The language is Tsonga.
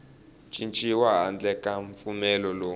cinciwi handle ka mpfumelelo lowu